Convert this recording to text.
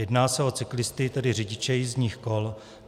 Jedná se o cyklisty, tedy řidiče jízdních kol.